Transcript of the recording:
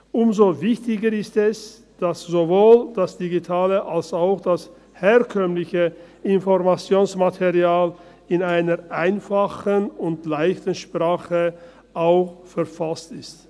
Umso wichtiger ist es, dass sowohl das digitale als auch das herkömmliche Informationsmaterial ebenfalls in einer einfachen und «leichten Sprache» verfasst sind.